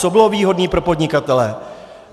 Co bylo výhodné pro podnikatele?